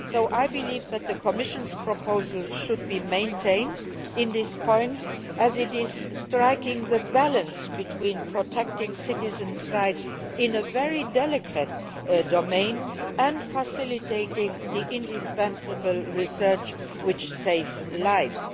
I believe that the Commission's proposal should be maintained on this point, as it strikes a balance between protecting citizens' rights in a very delicate domain and facilitating the indispensable research which saves lives.